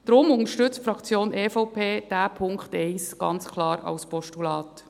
Deshalb unterstützt die Fraktion EVP diesen Punkt 1 ganz klar als Postulat.